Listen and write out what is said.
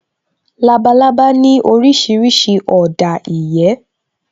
Labalábá ní orísìírísìí ọ̀dà ìyẹ́